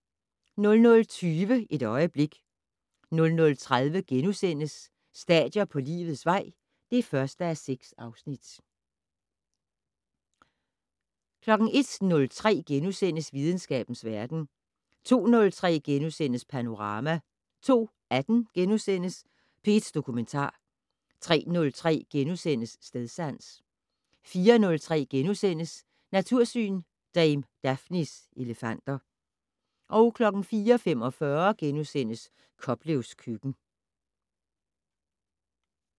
00:20: Et øjeblik 00:30: Stadier på livets vej (1:6)* 01:03: Videnskabens verden * 02:03: Panorama * 02:18: P1 Dokumentar * 03:03: Stedsans * 04:03: Natursyn: Dame Daphnes elefanter * 04:45: Koplevs køkken *